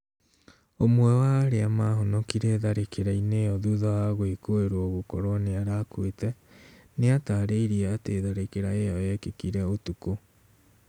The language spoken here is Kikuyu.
ũmwe wa arĩa mahonokire tharĩkira-inĩ ĩo thutha wa gwĩkũirwo gũkorwo nĩarakuite, niatarĩirie atĩ tharĩkira ĩyo yekĩkire ũtukũ